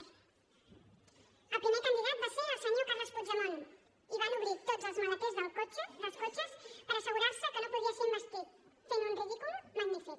el primer candidat va ser el senyor carles puigdemont i van obrir tots els maleters dels cotxes per assegurar se que no podria ser investit fent un ridícul magnífic